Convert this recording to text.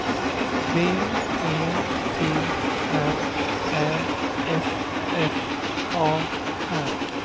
B E T R Ä F F A R